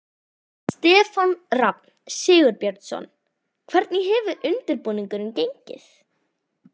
Stefán Rafn Sigurbjörnsson: Hvernig hefur undirbúningur gengið?